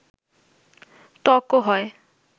ত্বকও হয়